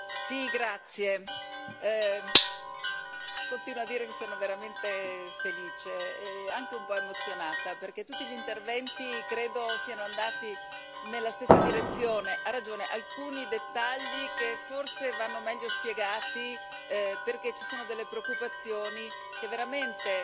Signor Presidente, onorevoli colleghi, sono veramente felice e anche un po'emozionata perché tutti gli interventi credo siano andati nella stessa direzione. Ha ragione, alcuni dettagli forse vanno meglio spiegati perché ci sono delle preoccupazioni che veramente